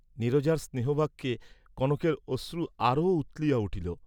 নীরজার স্নেহবাক্যে কনকের অশ্রু আরও উথলিয়া উঠিল।